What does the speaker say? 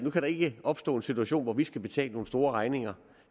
der ikke opstå en situation hvor vi skal betale nogle store regninger